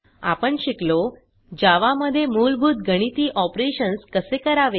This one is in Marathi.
आपण शिकलो जावा मध्ये मूलभूत गणिती ऑपरेशन्स कसे करावे